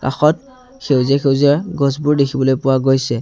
কাষত সেউজীয়া-সেউজীয়া গছবোৰ দেখিবলৈ পোৱা গৈছে।